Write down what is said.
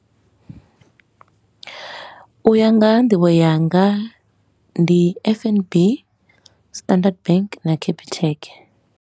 U ya nga ha nḓivho yanga ndi F_N_B, Standard Bank na Capitec.